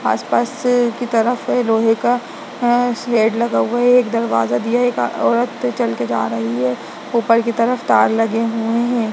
आस-पास की तरफ है लोहे का लगा हुआ है एक दरवाजा दिया है एक औरत चल के जा रही है ऊपर की तरफ तार लगे हुए है।